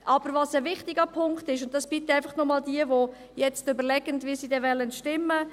Aber was ein wichtiger Punkt ist, und dies bitte noch einmal für jene, die überlegen, wie sie stimmen wollen: